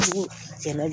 Ni jɛnɛ